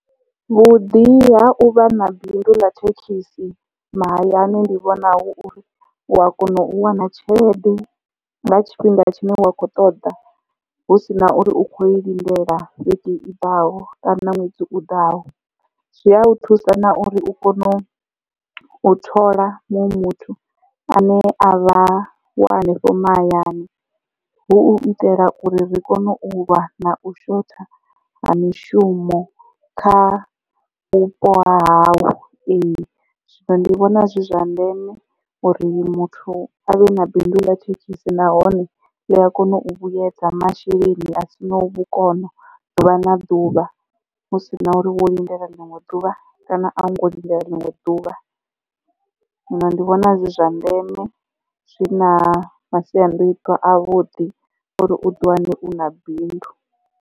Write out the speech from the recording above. Vhuḓi ha uvha na bindu ḽa thekhisi mahayani ndi vhona hu uri u a kona u wana tshelede nga tshifhinga tshine wa khou ṱoḓa hu si na uri u kho i lindela vhege i ḓaho kana na ṅwedzi u ḓaho. zwi a thusa na uri u kone u u thola muṅwe muthu ane a vha wa hanefho mahayani hu u itela uri ri kone u lwa na u shotha ha mishumo kha vhupo hahau ee. Zwino ndi vhona zwi zwa ndeme uri muthu avhe na bindu ḽa thekhisi nahone ḽi a kona u vhuyedza masheleni a sina vhukono ḓuvha na ḓuvha hu si na uri wo lindele ḽinwe ḓuvha kana a hu ngo lindele ḽinwe ḓuvha zwino ndi vhona zwi zwa ndeme zwi na masiandoitwa a vhuḓi uri u ḓiwane u na bindu.